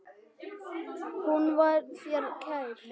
Hún var þér kær.